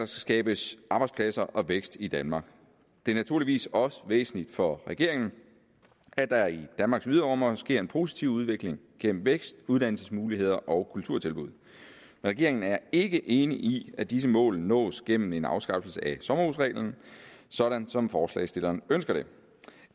skabes arbejdspladser og vækst i danmark det er naturligvis også væsentligt for regeringen at der i danmarks yderområder sker en positiv udvikling gennem vækst uddannelsesmuligheder og kulturtilbud regeringen er ikke enig i at disse mål nås gennem en afskaffelse af sommerhusreglen sådan som forslagsstillerne ønsker det